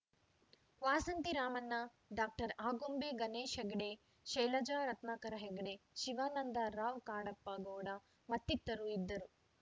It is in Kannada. ವಾಸಂತಿ ರಾಮಣ್ಣ ಡಾಕ್ಟರ್ ಆಗುಂಬೆ ಗಣೇಶ್‌ ಹೆಗ್ಡೆ ಶೈಲಜಾ ರತ್ನಾಕರ ಹೆಗ್ಡೆ ಶಿವಾನಂದ ರಾವ್‌ ಕಾಡಪ್ಪ ಗೌಡ ಮತ್ತಿತರರು ಇದ್ದರು